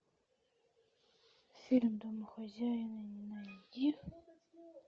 фильм домохозяин найди